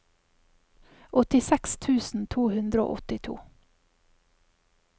åttiseks tusen to hundre og åttito